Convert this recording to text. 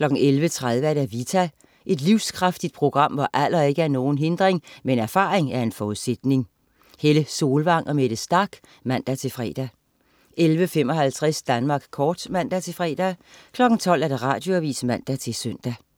11.30 Vita. Et livskraftigt program, hvor alder ikke er nogen hindring, men erfaring en forudsætning. Helle Solvang og Mette Starch (man-fre) 11.55 Danmark kort (man-fre) 12.00 Radioavis (man-søn)